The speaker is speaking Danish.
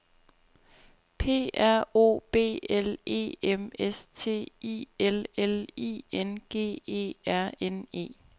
P R O B L E M S T I L L I N G E R N E